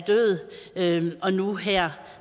død og nu her